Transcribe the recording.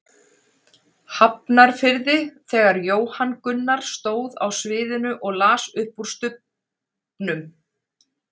Hafnarfirði þegar Jóhann Gunnar stóð á sviðinu og las upp úr Stubbnum.